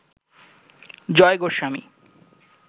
Joy Goswami